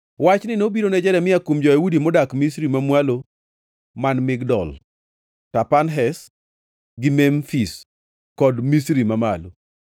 Wachni nobiro ne Jeremia kuom jo-Yahudi modak Misri Mamwalo man Migdol, Tapanhes gi Memfis kod Misri Mamalo: